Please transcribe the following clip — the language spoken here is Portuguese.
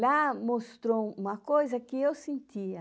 Lá mostrou uma coisa que eu sentia.